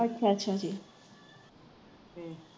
ਅੱਛਾ ਅੱਛਾ ਜੀ